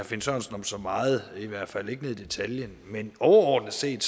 finn sørensen om så meget i hvert fald ikke ned i detaljen men overordnet set